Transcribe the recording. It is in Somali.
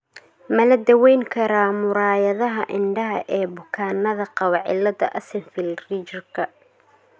Ma la daweyn karaa muraayadaha indhaha ee bukaannada qaba cilada Axenfeld Riegerka ?